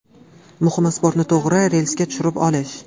Muhimi sportni to‘g‘ri relsga tushirib olish.